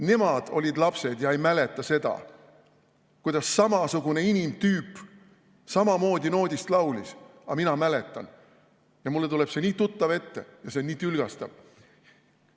Nemad olid lapsed ja ei mäleta seda, kuidas samasugune inimtüüp samamoodi noodist laulis, aga mina mäletan, mulle tuleb see nii tuttav ette ja see on nii tülgastav.